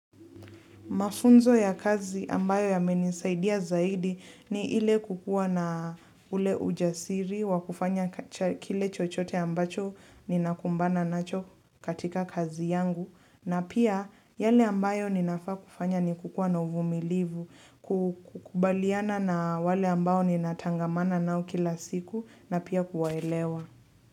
Mafunzo ya kazi ambayo yamenisaidia zaidi ni ile kukua na ule ujasiri wa kufanya kile chochote ambacho ninakumbana nacho katika kazi yangu. Na pia yale ambayo ninafaa kufanya ni kukua na uvumilivu, kukubaliana na wale ambao ninatangamana nao kila siku na pia kuwaelewa.